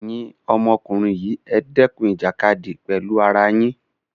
Ẹ̀yin ọmọkùnrin yii ẹ̀ dẹ́kun ìjàkadì pẹ̀lú ara yín!